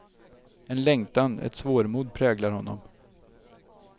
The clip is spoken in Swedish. En längtan, ett svårmod präglar honom.